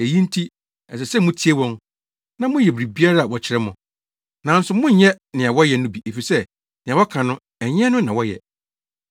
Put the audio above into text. Eyi nti, ɛsɛ sɛ mutie wɔn, na moyɛ biribiara a wɔkyerɛ mo. Nanso monnyɛ nea wɔyɛ no bi efisɛ nea wɔka no, ɛnyɛ ɛno na wɔyɛ.